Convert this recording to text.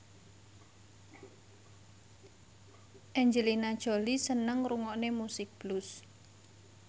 Angelina Jolie seneng ngrungokne musik blues